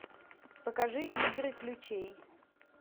покажи игры ключей